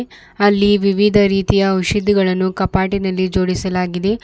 ಅಲ್ಲಿ ವಿವಿಧ ರೀತಿಯ ಔಷಧಿಗಳನ್ನು ಕಾಪಾಟಿನಲ್ಲಿ ಜೋಡಿಸಲಾಗಿದೆ.